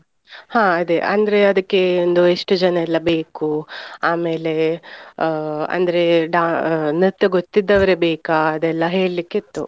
ಹಾ ಅದೇ ಅಂದ್ರೆ, ಅದಕ್ಕೆ ಒಂದು ಎಷ್ಟು ಜನಯೆಲ್ಲ ಬೇಕು, ಆಮೇಲೆ ಆ ಅಂದ್ರೆ ಡಾ~ ನೃತ್ಯ ಗೊತಿದ್ದವರೇ ಬೇಕಾ ಅದೆಲ್ಲ ಹೇಳ್ಲಿಕ್ ಇತ್ತು.